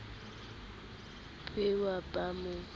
be wa ba wa mo